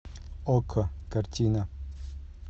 окко картина